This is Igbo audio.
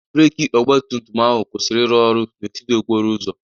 Breeki ọgba tum tum ahụ kwụsiri ịrụ ọrụ n'etiti okporo ụzọ.